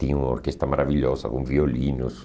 Tinha uma orquestra maravilhosa com violinos.